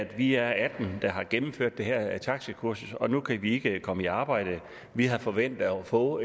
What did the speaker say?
vi er atten der har gennemført det her taxakursus og nu kan vi ikke komme i arbejde vi havde forventet at få